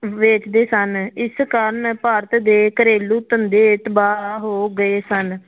ਵੇਚਦੇ ਸਨ, ਇਸ ਕਾਰਨ ਭਾਰਤ ਦੇ ਘਰੇਲੂ ਧੰਦੇ ਤਬਾਹ ਹੋ ਗਏ ਸਨ।